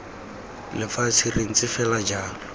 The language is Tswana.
lefatshe re ntse fela jalo